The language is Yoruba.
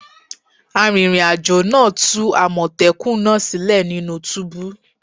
Arìnrìn àjò náà tú àmọ̀tẹ́kùnnaa sílẹ̀ nínú túbú